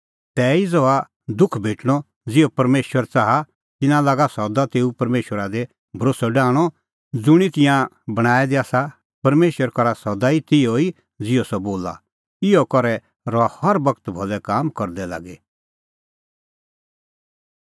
तैही ज़हा तिहअ दुख भेटअ ज़िहअ परमेशर च़ाहा तिन्नां लागा सदा तेऊ परमेशरा दी भरोस्सअ डाहणअ ज़ुंणी तिंयां बणांऐं दै आसा परमेशर करा सदा तिहअ ई ज़िहअ सह बोला इहअ करै रहा हर बगत भलै करदै लागी